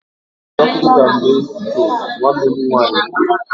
M ga-aghọ dọkịta mgbe m toro, nwanne m nwanyị kwuru